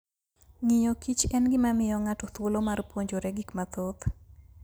Ng'iyo kich en gima miyo ng'ato thuolo mar puonjore gik mathoth.